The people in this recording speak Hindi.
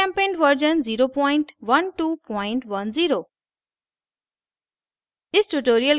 gchempaint version 01210